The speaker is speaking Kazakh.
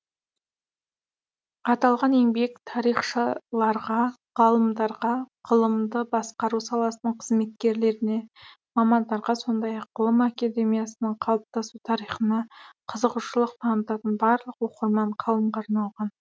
аталған еңбек тарихшыларға ғалымдарға ғылымды басқару саласының қызметкерлеріне мамандарға сондай ақ ғылым академиясының қалыптасу тарихына қызығушылық танытатын барлық оқырман қауымға арналған